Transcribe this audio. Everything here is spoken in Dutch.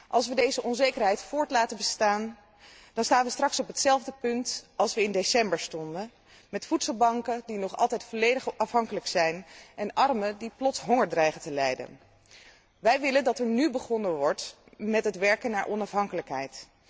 Als we deze onzekerheid laten voortbestaan, dan staan we straks op hetzelfde punt als in december, met voedselbanken die nog altijd volledig afhankelijk zijn en armen die plots honger dreigen te lijden. Wij willen dat er nu begonnen wordt met het werken naar onafhankelijkheid.